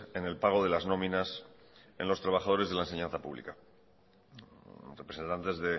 en el pago de las nominas en los trabajadores de la enseñanza pública los representantes